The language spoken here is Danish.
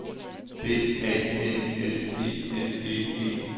D A N S E N D E